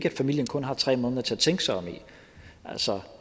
at familien kun har tre måneder til at tænke sig om i altså